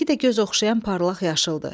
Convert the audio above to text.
Rəngi də göz oxşayan parlaq yaşıldır.